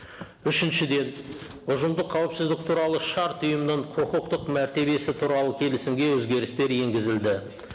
үшіншіден ұжымдық қауіпсіздік туралы шарт ұйымның құқықтық мәртебесі туралы келісімге өзгерістер енгізілді